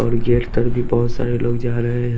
और गेट तक भी बहोत सारे लोग जा रहे हैं।